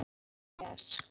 Það var eins hjá mér.